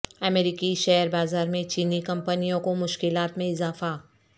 امریکی شیئر بازارمیں چینی کمپنیوں کو مشکلات میں اضافہ